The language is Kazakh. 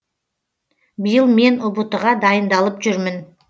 биыл мен ұбт ға дайындалып жүрмін